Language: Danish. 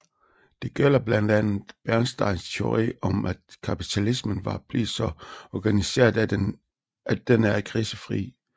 Det gælder blandt andet Bernsteins teori om at kapitalismen var blevet så organiseret at den er krisefri